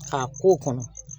A k'o kɔnɔ